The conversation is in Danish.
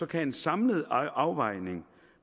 kan en samlet afvejning